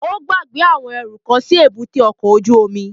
Ó gbàgbé àwọn ẹrú kan sí èbúté ọkọ̀ ojú omi